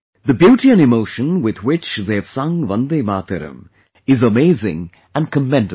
The beauty and emotion with which they have sung ' VandeMataram ' is amazing and commendable